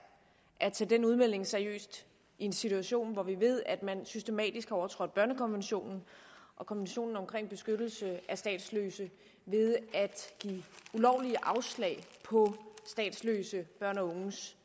at tage den udmelding seriøst i en situation hvor vi ved at man systematisk har overtrådt børnekonventionen og konventionen om beskyttelse af statsløse ved at give ulovligt afslag på statsløse børns og unges